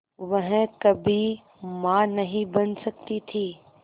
वह कभी मां नहीं बन सकती थी